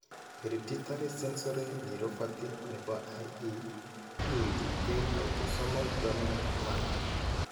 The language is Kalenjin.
Hereditay sensory neuropathy nebo IE kiinti en autosomal dominant manner.